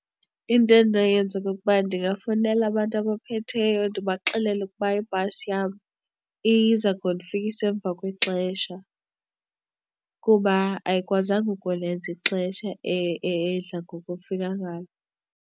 Into endinoyenza kukuba ndingafowunela abantu abaphetheyo ndibaxelele ukuba ibhasi yam iza kundifikisa emva kwexesha kuba ayikwazanga ukulenza ixesha edla ngokufika ngalo.